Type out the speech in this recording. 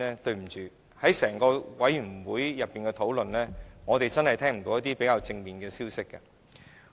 在整個法案委員會的討論方面，我們真的聽不到一些較正面的消息。